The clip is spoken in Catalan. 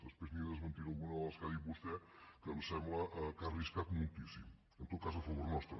després li’n desmentiré alguna de les que ha dit vostè que em sembla que ha arriscat moltíssim en tot cas a favor nostre